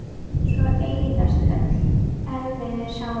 Svo eyðast öll erfiðu sárin.